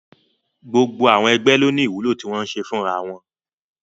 Gbogbo àwọn ẹgbẹ́ ló ní ìwúlò tí wọ́n ń ṣe fúnra wọn